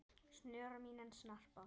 snör mín en snarpa